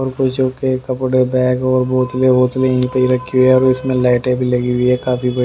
और कुछों के कपड़े बैग और बोतले बोतले यहीं पे ही रखी हुई है और इसमें लाइटें भी लगी हुई है काफी--